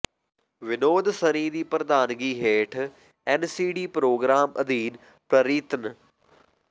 ਵਿਨੋਦ ਸਰੀਨ ਦੀ ਪ੍ਰਧਾਨਗੀ ਹੇਠ ਐੱਨਸੀਡੀ ਪ੍ਰਰੋਗਰਾਮ ਅਧੀਨ ਪ੍ਰਰੀਤ ਨ